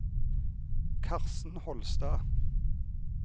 Karsten Holstad